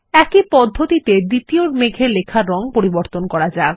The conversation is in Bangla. একই পদ্ধতিতে দ্বিতীয় মেঘের লেখার রং পরিবর্তন করা যাক